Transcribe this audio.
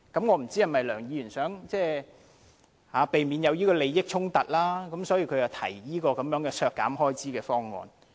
我不知道梁議員是否想避免出現利益衝突，所以提出削減這筆開支的修正案。